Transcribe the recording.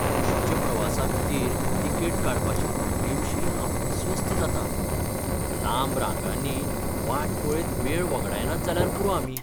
बशीच्या प्रवासाखातीर तिकेट काडपाचे प्रक्रियेविशीं हांव अस्वस्थ जातां , लांब रांगांनी वाट पळयत वेळ वगडायनात जाल्यार पुरो आमी.